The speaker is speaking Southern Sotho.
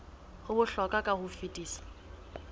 ho bohlokwa ka ho fetisisa